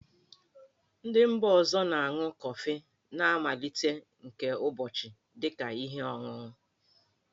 Ndị mba ọzọ na-aṅụ kọfị na mmalite nke ụbọchị dị ka ihe ọṅụṅụ.